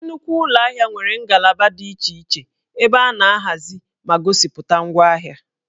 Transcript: Nnukwu ụlọ ahịa nwere ngalaba dị iche iche ebe a na-ahazi ma gosipụta ngwaahịa